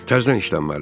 Təzədən işlənməlidir.